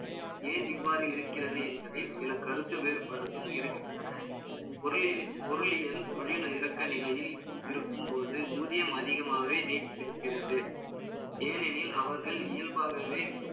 ஏன் இவ்வாறு இருக்கிறது என்பதில், சில கருத்து வேறுபாடுகளும் இருக்கின்றன. பொருளியல், தொழில்ல இறக்க நிலையில் இருக்கும்போது, ஊதியம் அதிகமாகவே நீடித்திருக்கிறது. ஏனெனில், அவர்கள் இயல்பாகவே